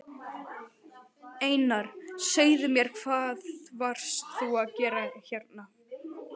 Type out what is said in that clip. Einar, segðu mér hvað varst þú að gera hérna?